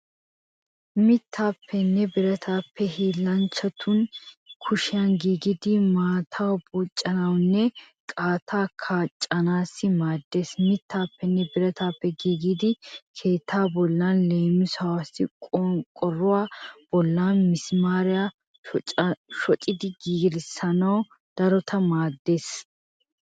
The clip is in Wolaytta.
Mittaappenne birataape hiillanchatu kushiyan giigidi maataa buucanaassinne kattaa cakkanaassi maaddeees. Mittaappenne birataape giigidi keettaa bollan leemisuwaassi qonqqoruwa bollan misimaariya shocidi gelissanaassi daroto maaddeees.